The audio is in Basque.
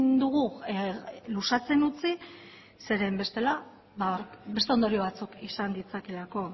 dugu luzatzen utzi zeren bestela beste ondorio batzuk izan ditzakeelako